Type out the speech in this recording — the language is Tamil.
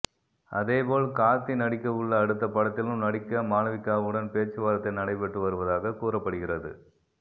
அதேபோல் கார்த்தி நடிக்கவுள்ள அடுத்த படத்திலும் நடிக்க மாளவிகாவுடன் பேச்சுவார்த்தை நடைபெற்று வருவதாக கூறப்படுகிறது